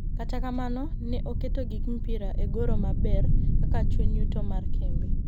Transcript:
Kata kamano, ne oketo gik mpira e goro maber kaka chuny yuto mar kembe